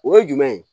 O ye jumɛn ye